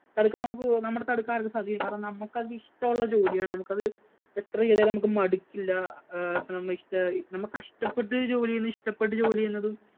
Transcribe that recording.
തടുക്കാന്‍ നമുക്ക് തടുക്കാന്‍ നമുക്ക് സാധിക്കും. കാരണം, നമുക്ക് അത് ഇഷ്ടമുള്ള ജോലിയാണ്. അത് എത്ര ചെയ്താലും നമ്മുക്ക് മടുക്കില്ല. ഏർ അപ്പൊ നമുക്ക് ഇഷ്ട നമ്മ കഷ്ടപ്പെട്ടു ജോലി ചെയ്യുന്നതും, ഇഷ്ടപ്പെട്ടു ജോലി ചെയ്യുന്നതും